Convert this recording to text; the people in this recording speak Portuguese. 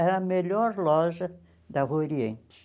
Era a melhor loja da Rua Oriente.